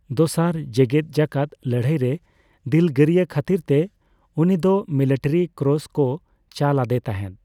ᱫᱚᱥᱟᱨ ᱡᱮᱜᱮᱫ ᱡᱟᱠᱟᱛ ᱞᱟᱹᱲᱦᱟᱹᱭᱨᱮ ᱫᱤᱞᱜᱟᱹᱨᱭᱟᱹ ᱠᱷᱟᱛᱤᱨ ᱛᱮ ᱩᱱᱤ ᱫᱚ ᱢᱤᱞᱤᱴᱟᱨᱤ ᱠᱨᱚᱥ ᱠᱚ ᱪᱟᱞ ᱟᱫᱮ ᱛᱟᱦᱮᱫ ᱾